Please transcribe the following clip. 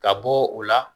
Ka bɔ o la